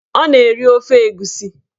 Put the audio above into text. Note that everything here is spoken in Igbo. Ọ na-eri ofe egusi